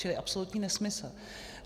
Čili absolutní nesmysl.